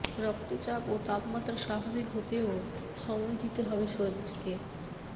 রক্তচাপ ও তাপমাত্রা স্বাভাবিক হতেও সময় দিতে হবে শরীরকে